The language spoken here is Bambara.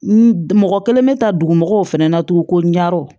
N mɔgɔ kelen bɛ taa dugu mɔgɔw fɛnɛ na tuguni ko ɲarw